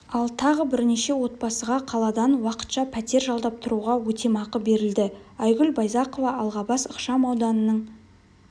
ал тағы бірнеше отбасыға қаладан уақытша пәтер жалдап тұруға өтемақы берілді айгүл байзақова алғабас ықшам ауданының